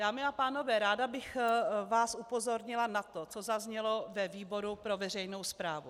Dámy a pánové, ráda bych vás upozornila na to, co zaznělo ve výboru pro veřejnou správu.